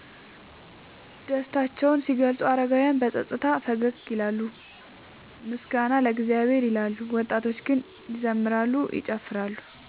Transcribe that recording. ደስታቸውን ሲገልጹ አረጋውያን በጸጥታ ፈገግ ይላሉና “ምስጋና ለእግዚአብሔር” ይላሉ፤ ወጣቶች ግን ይዘምራሉ፤ ይጨፍራሉ።